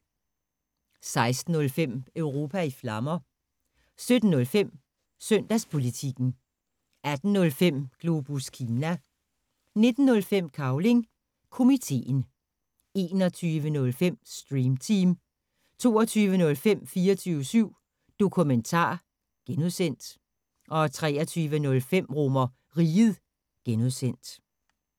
16:05: Europa i Flammer 17:05: Søndagspolitikken 18:05: Globus Kina 19:05: Cavling Komiteen 21:05: Stream Team 22:05: 24syv Dokumentar (G) 23:05: RomerRiget (G)